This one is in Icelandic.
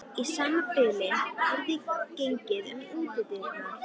Í sama bili heyrðist gengið um útidyrnar.